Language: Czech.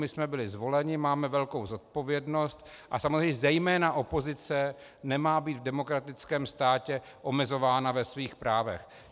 My jsme byli zvoleni, máme velkou zodpovědnost a samozřejmě zejména opozice nemá být v demokratickém státě omezována ve svých právech.